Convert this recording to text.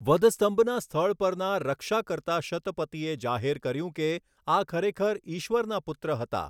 વધસ્તંભના સ્થળ પરના રક્ષા કરતા શતપતિએ જાહેર કર્યું કે, 'આ ખરેખર ઇશ્વરના પુત્ર હતા!